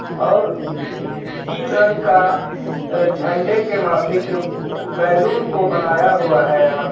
और तीन रंग का झंडे के माफिक बेलून को बनाया हुआ है यहाँ पे.